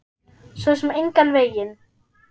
Svo sem engan veginn